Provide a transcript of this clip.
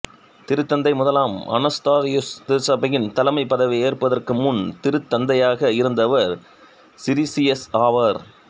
திருத்தந்தை முதலாம் அனஸ்தாசியுஸ் திருச்சபையின் தலைமைப் பதவியை ஏற்பதற்கு முன் திருத்தந்தையாக இருந்தவர் சிரீசியஸ் ஆவார்